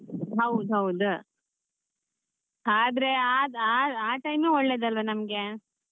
ಹೌದ್ ಹೌದ್ ಆದ್ರೆ ಆ ಆ time ಒಳ್ಳೆದಲ್ಲ ನಮ್ಗೆ.